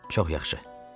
Çox yaxşı.